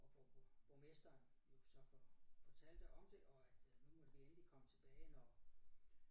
Og hvor borg borgmesteren jo så for fortalte om det og nu måtte vi endelig komme tilbage når